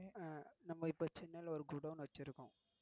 நம்ம இப்போ சென்னைல ஒரு குடோன் வச்சிருக்கோம்